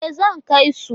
E, zan kai su.